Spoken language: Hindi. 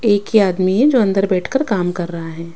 एक ही आदमी है जो अंदर बैठकर काम कर रहा है।